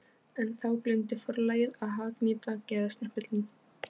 En þá gleymdi forlagið að hagnýta gæðastimpilinn!